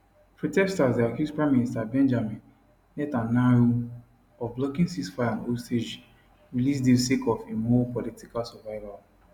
protesters dey accuse prime minister benjamin netanyahu of blocking ceasefire and hostage release deal sake of im own political survival